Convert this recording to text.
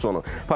Sitatın sonu.